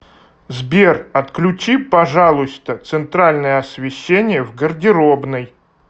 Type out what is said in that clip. сбер отключи пожалуйста центральное освещение в гардеробной